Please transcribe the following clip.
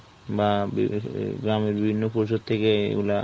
বা বা গ্রামের বিভিন্ন পরিষদ থেকে এগুলা